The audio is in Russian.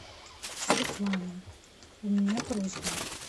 светлана у меня просьба